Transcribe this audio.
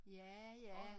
Ja ja